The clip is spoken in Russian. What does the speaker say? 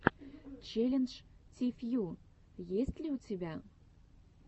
челлендж ти фью есть ли у тебя